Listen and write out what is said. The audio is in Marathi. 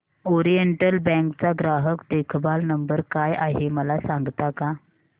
ओरिएंटल बँक चा ग्राहक देखभाल नंबर काय आहे मला सांगता का